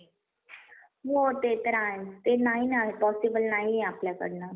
यांनी ही घोषणा केली. ही योजना दोन हजार बावीस ते दोन हजार सत्तावीस अशी पाच वर्षाची असून या वर एकूण सत्तावीस हजार तीनशे साठ कोटी रुपयांचा